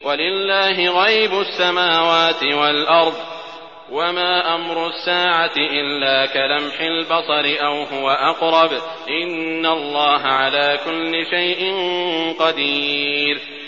وَلِلَّهِ غَيْبُ السَّمَاوَاتِ وَالْأَرْضِ ۚ وَمَا أَمْرُ السَّاعَةِ إِلَّا كَلَمْحِ الْبَصَرِ أَوْ هُوَ أَقْرَبُ ۚ إِنَّ اللَّهَ عَلَىٰ كُلِّ شَيْءٍ قَدِيرٌ